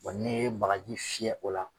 Wa n'i ye bagaji fiyɛ o la